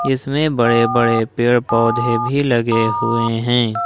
इसमें बड़े-बड़े पेड़-पौधे भी लगे हुए हैं।